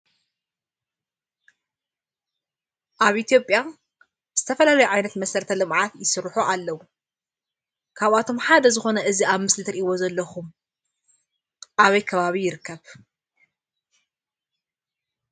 ኣብ እትዮጵያ ዝተፈላለዩ ዓይነት መሰረተ ልምዓታት ዝስርሑ አለው። ካብኣቶም ሓደ ዝኮነ እዚ ኣብ ምስሊ ትሪእዎ ዘለኩም ኣበይ ከባቢ ይርከብ?